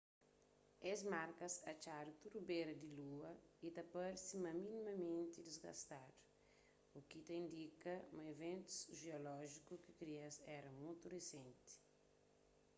es markas atxadu tudu bera di lua y ta parse sta minimamenti disgastadu u ki ta indika ma iventus jeolójiku ki kria-s éra mutu risenti